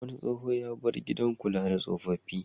Wani tsoho ya bar gidan kula da tsofaffi.